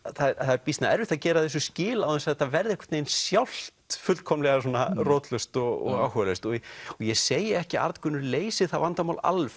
það er býsna erfitt að gera þessu skil án þess að þetta verði einhvern veginn sjálft fullkomlega svona rótlaust og áhugalaust og ég segi ekki að Arngunnur leysi það vandamál alveg